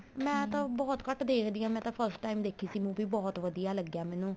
ਮੈਂ ਬਹੁਤ ਘੱਟ ਦੇਖਦੀ ਆ ਮੈਂ ਤਾਂ first time ਦੇਖੀ ਸੀ movie ਬਹੁਤ ਵਧੀਆ ਲੱਗਿਆ ਮੈਨੂੰ